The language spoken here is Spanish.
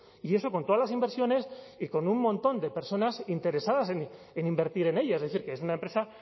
y eso con todas las inversiones y con un montón de personas interesadas en invertir en ella es decir que es una empresa